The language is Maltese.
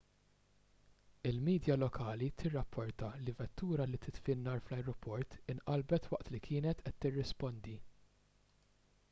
il-midja lokali tirrapporta li vettura li titfi n-nar fl-ajruport inqalbet waqt li kienet qed tirrispondi